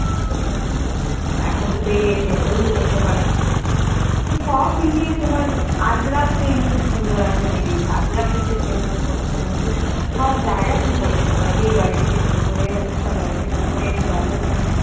এখন খূব বেরিয়েছে ওঈগুলো পড়তে তো সব মিলিয়ে তোমার আজরাখ print খুব সুন্দর এখন বেরিয়েছে আজরাখ print dress তুমি পোরতে পাড়ো উরুসব জায়গায় পড়ে যেতে পারো বিয়ে বাড়ি থেকে শুরু করে অনুষ্ঠান থেকে শুরু করে এমনি normal তুমি